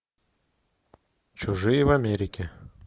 чужие в америке